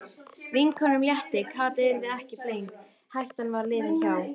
Vinkonunum létti, Kata yrði ekki flengd, hættan var liðin hjá.